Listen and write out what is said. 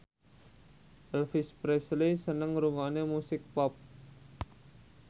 Elvis Presley seneng ngrungokne musik pop